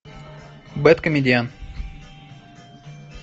бэдкомедиан